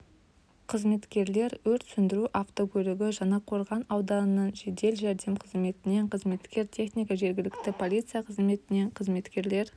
қызметкер өрт сөндіру автокөлігі жаңақорған ауданының жедел жәрдем қызметінен қызметкер техника жергілікті полиция қызметінен қызметкер